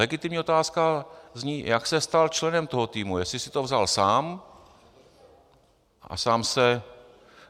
Legitimní otázka zní, jak se stal členem toho týmu, jestli si to vzal sám a sám se...